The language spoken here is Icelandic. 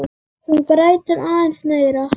Hún grætur aðeins meira.